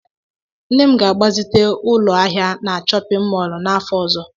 Nne m ga-agbazite ụlọ ahịa na chọpịn mọọlụ n'afọ ọzọ.